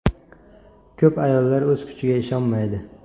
Ko‘p ayollar o‘z kuchiga ishonmaydi.